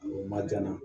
O ma can dɛ